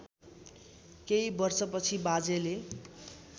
केही वर्षपछि बाजेले